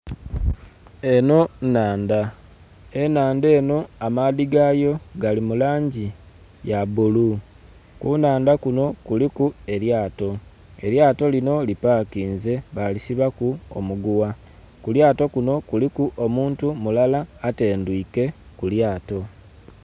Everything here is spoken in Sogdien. Enho nhandha. Enhandha enho amaadhi gayo gali mu langi ya bulu. Ku nhandha kuno kuliku elyato, elyato lino li pakinze balisibaku omuguwa. Ku lyato kuno kuliku omuntu mulala atendhwiike ku lyato.